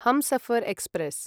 Humsafar express